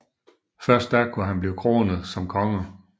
Først da kunne han blive kronet som konge